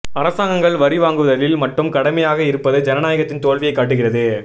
அரசாங்கங்கள் வரி வாங்குவதில் மட்டும் கடமையாக இருப்பது ஜனநாயகத்தின் தோல்வியை காட்டுகிறது